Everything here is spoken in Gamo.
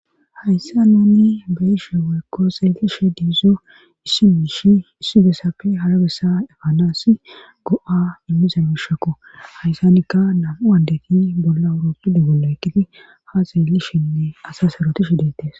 hayssa nunni beyishe weykko xeelishe diizo issi miishi issi bessapfe hara bessa efanaass go7a immisa bishekko hayssanikka namu andeti bolla awurooppide bolla ekkiti ha xeelishenne asa saroti shidettes